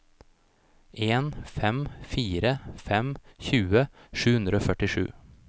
en fem fire fem tjue sju hundre og førtisju